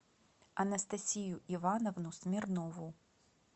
анастасию ивановну смирнову